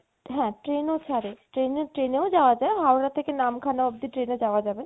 হ্যা train ও ছারে, train train ও যাওয়া যায় হাওড়া থেকে নামখানা অব্দি train এ যাওয়া যাবে